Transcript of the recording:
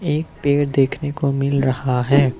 एक पेड़ देखने को मिल रहा है।